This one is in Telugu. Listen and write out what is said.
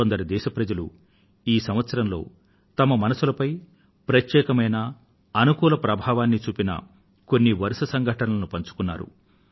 కొందరు దేశ ప్రజలు ఈ సంవత్సరంలో తమ మనసులపై ప్రత్యేకమైన అనుకూల ప్రభావాన్నీ చూపిన కొన్ని వరుస సంఘటనలను పంచుకున్నారు